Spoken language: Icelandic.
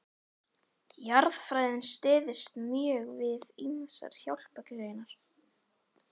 Jarðfræðin styðst mjög við ýmsar hjálpargreinar.